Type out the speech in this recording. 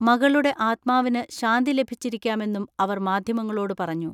മകളുടെ ആത്മാവിന് ശാന്തി ലഭിച്ചിരിക്കാമെന്നും അവർ മാധ്യമങ്ങളോട് പറഞ്ഞു.